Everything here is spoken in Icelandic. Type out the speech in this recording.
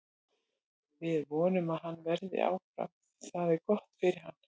Við vonum að hann verði áfram því það er gott fyrir hann.